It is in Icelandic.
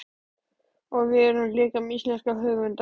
Og við erum líka með íslenska höfunda.